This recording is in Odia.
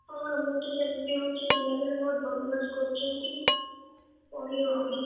ହଁ ଆମର ତ ସେମିତି ହଉଚି, ପିଲାମାନେ ବହୁତ୍ ବଦମାସ କରୁଛନ୍ତି। ପଢି ହଉନି ।